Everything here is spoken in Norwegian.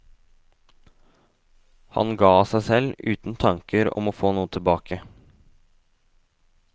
Han ga av seg selv, uten tanker om å få noe tilbake.